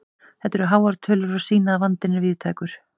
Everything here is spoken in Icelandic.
Þetta eru háar tölur og sýna að vandinn er víðtækur.